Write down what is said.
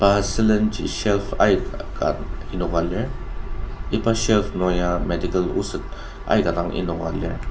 pa sülen ji shelf aika dang enoka lir iba shelf nung ya medical oset aika dang enoka lir.